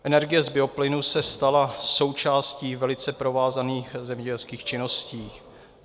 Energie z bioplynu se stala součástí velice provázaných zemědělských činností.